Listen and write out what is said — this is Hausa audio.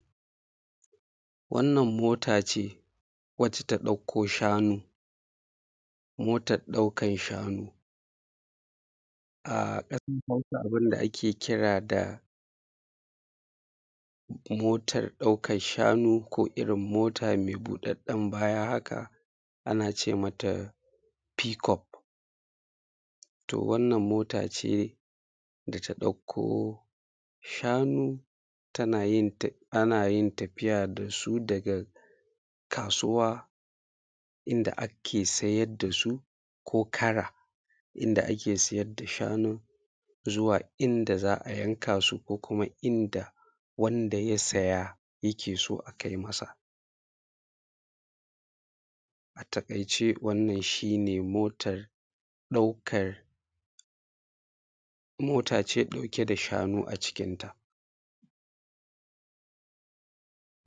Wannan motaa ce wadda ta ɗauko shanu. Motar ɗaukan shanu. A ƙasar Hausa abin da da ake kira da motar ɗaukan shanuu ko irin mota mai buɗaɗɗen baya haka, ana ce mata fiikof, to wannan motaa ce da ta ɗauko shanu ana yin tafiya da su daga kaasuwa inda ake sayar da su ko kara inda ake siyar da shanun zuwa inda za’a yanka su ko kuma inda wanda ya saya yake so a kai masa. A taƙaice wannan shi nee motar, motaa ce ɗauke da shanu acikinta.